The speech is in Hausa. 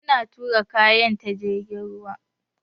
Mun tura kayan ta jirgin ruwa.